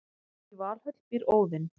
í valhöll býr óðinn